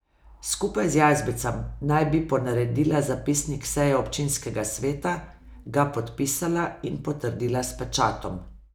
Skupaj z Jazbecem naj bi ponaredila zapisnik seje občinskega sveta, ga podpisala in potrdila s pečatom.